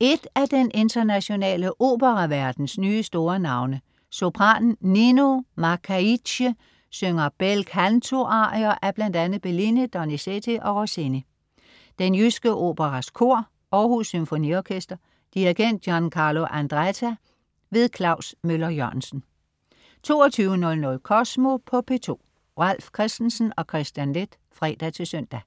Et af den internationale operaverdens nye store navne, sopranen Nino Machaidze, synger bel canto-arier af bl.a. Bellini, Donizetti og Rossini. Den Jyske Operas kor. Aarhus Symfoniorkester. Dirigent: Giancarlo Andretta. Klaus Møller-Jørgensen 22.00 Kosmo på P2. Ralf Christensen og Kristian Leth (fre-søn)